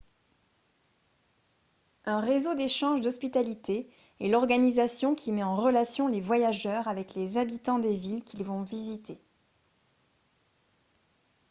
un réseau d'échange d'hospitalité est l'organisation qui met en relation les voyageurs avec les habitants des villes qu'ils vont visiter